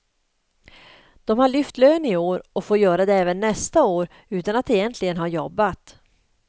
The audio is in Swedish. De har lyft lön i år och får göra det även nästa år utan att egentligen ha jobb.